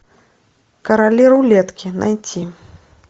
короли рулетки найти